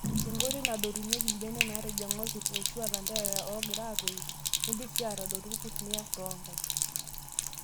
Enkoitoi nadotunyieki mbenek natijing'a orkurto eshua laterera ogira aatoyu nindim sii atadotu irkurt niyar toonkaik.